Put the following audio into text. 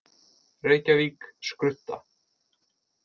Reykjavík: Skrudda.